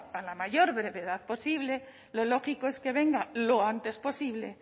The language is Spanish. a la mayor brevedad posible lo lógico es que venga lo antes posible